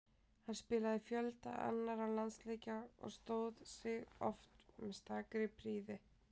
Hann spilaði fjölda annarra landsleikja og stóð sig oft með stakri prýði.